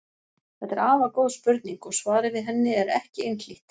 Þetta er afar góð spurning og svarið við henni er ekki einhlítt.